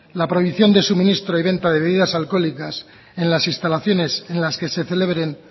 la prohibición de suministro y venta de bebidas alcohólicas en las instalaciones en las que se celebren